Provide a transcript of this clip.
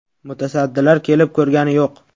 Mutasaddilar kelib ko‘rgani yo‘q.